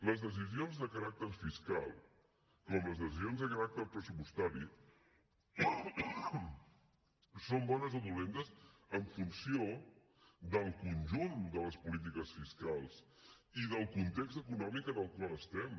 les decisions de caràcter fiscal com les decisions de caràcter pressupostari són bones o dolentes en funció del conjunt de les polítiques fiscals i del context econòmic en el qual estem